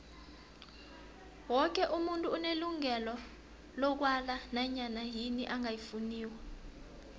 woke umuntu unelungelo lokwala nanyana yini angayifuniko